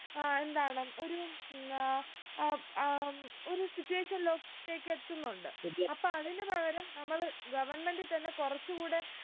ആഹ് എന്താണ് ഒരു ആഹ് ആഹ് അഹ് ഒരു situation ലോട്ടേക്ക് എത്തുന്നുണ്ട് അപ്പൊ അതിന് പകരം നമ്മള് government തന്നെ കുറച്ചു കൂടെ